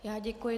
Já děkuji.